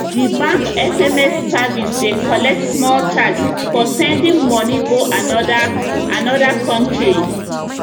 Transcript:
d bank sms service dey collect small charge for sending moni go another another country